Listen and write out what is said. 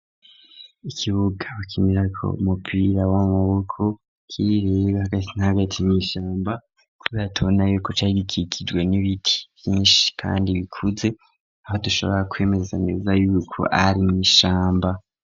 Ikibuga bakinirako umupira w'amaboko kiri hagati na hagati mw'ishamba, kubera tubona yuko carigikikijwe n'ibiti bvyinshi kandi bikuze, aho dushobora kwemeza neza y'uko ari mw'ishamba.